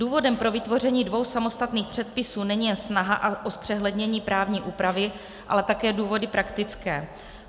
Důvodem pro vytvoření dvou samostatných předpisů není jen snaha o zpřehlednění právní úpravy, ale také důvody praktické.